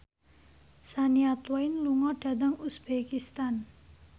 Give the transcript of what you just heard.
Shania Twain lunga dhateng uzbekistan